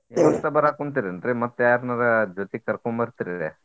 ಬರಾಕುಂತೇರಿ ಏನ್ರೀ ಮತ್ತ್ ಯಾರ್ನಾರ ಜೊತಿಗ್ ಕರ್ಕೊಂಡ್ ಬರ್ತಿರರಿ?